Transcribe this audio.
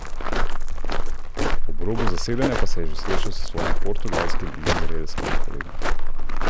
Ob robu zasedanja pa se je že srečal s svojim portugalskim in izraelskim kolegom.